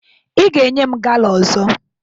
Ị ga-enye m gala ọzọ!